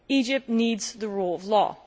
Egypt needs the rule of law.